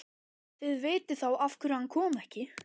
Þið vitið þá af hverju hann kom ekki.